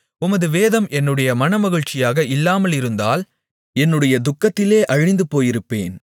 உமது வேதம் என்னுடைய மனமகிழ்ச்சியாக இல்லாமலிருந்தால் என்னுடைய துக்கத்திலே அழிந்துபோயிருப்பேன்